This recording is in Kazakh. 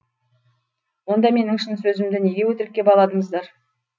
онда менің шын сөзімді неге өтірікке баладыңыздар